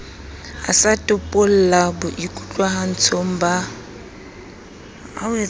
a sa topalla boikutlwahatsong ba